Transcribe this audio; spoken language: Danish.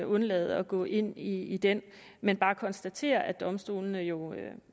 undlade at gå ind i i den men bare konstatere at domstolene jo